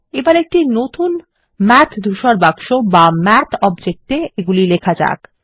এবার একটি নতুন মাথ ধূসর বাক্স বা মাথ অবজেক্ট -এ এগুলি লেখা যাক